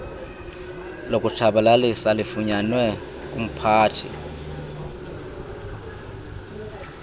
lokutshabalalisa lifunyanwe kumphathi